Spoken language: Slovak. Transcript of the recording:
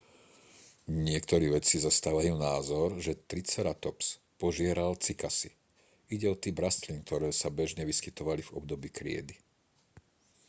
niektorí vedci zastávajú názor že triceratops požieral cykasy ide o typ rastlín ktoré sa bežne vyskytovali v období kriedy